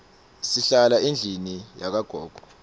silala endlini yakagogo